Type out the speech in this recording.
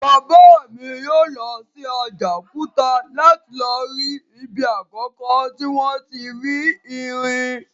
Bàbá mi yóò lọ sí Àjàòkúta láti lọ rí ibi àkọ́kọ́ tí wọ́n ti rí irin